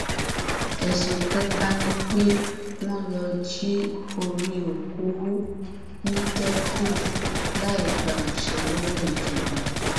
ẹsùn kẹta ni pé wọn lọọ jí orí òkú hù nítẹkùu láì gba àṣẹ lọwọ ìjọba